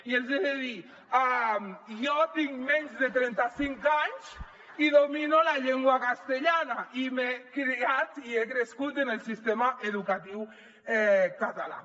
i els hi he de dir jo tinc menys de trenta cinc anys i domino la llengua castellana i m’he criat i he crescut en el sistema educatiu català